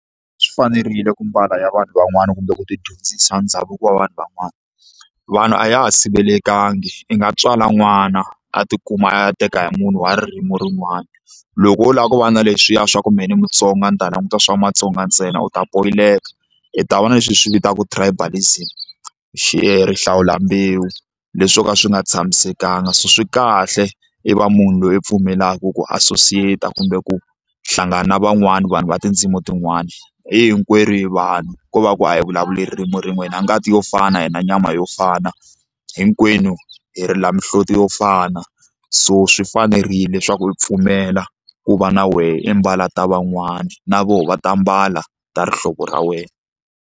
Swi fanerile ku mbala ya vanhu van'wani kumbe u ti dyondzisa ndhavuko wa vanhu van'wana vanhu a ya ha sivelekangi i nga tswala n'wana a tikuma a ya teka hi munhu wa ririmi rin'wana loko wo lava ku va na leswiya swa ku mehe ni Mutsonga ni ta languta swa Matsonga ntsena u ta poyileka hi ta vona leswi hi swi vitaka tribalism xi rihlawula mbewu leswi swo ka swi nga tshamisekanga so swi kahle i va munhu loyi i pfumelaka ku associate-a kumbe ku hlangana na van'wana vanhu va tindzimi tin'wana hi hinkwerhu hi vanhu ko va ku a hi vulavuli ririmi rin'we hi na ngati yo fana na nyama yo fana hinkwenu hi ri la mihloti yo fana so swi fanerile leswaku u pfumela ku va na wehe i mbala ta van'wana na voho va ta mbala ta rihlovo ra wena.